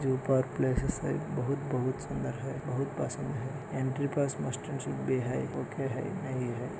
जो ऊपर पलासेस हैं बहुत बहुत सुंदर है बहुत पसंद है एंट्रिपास ।